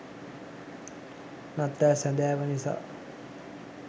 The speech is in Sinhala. නත්තල් සැඳෑව නිසා